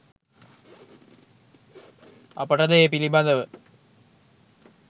අපට ද ඒ පිළිබඳව